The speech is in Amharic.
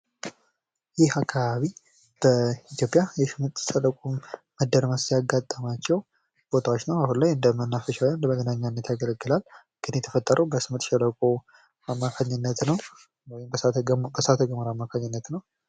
ይህ አካባቢ በኢትዮጵያ የስምጥ ሸለቆ መደምረስ ያጋጠማቸው ቦታዎች ነው ። አሁን ላይ እንደመናፈሻ ወይም እንደመዝናኛነት ያገለግላል ። ግን የተፈጠረው በስምጥ ሸለቆ አማካኝነት ነው ወይም በእሳተ ገሞራ አማካኝነት ነው ።